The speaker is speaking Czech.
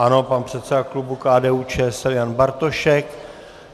Ano, pan předseda klubu KDU-ČSL Jan Bartošek.